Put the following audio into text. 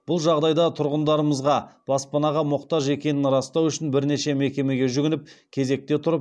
бұл жағдайда тұрғындарымызға баспанаға мұқтаж екенін растау үшін бірнеше мекемеге жүгініп кезекте тұрып